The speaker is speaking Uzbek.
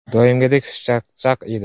Doimgidek xushchaqchaq edi.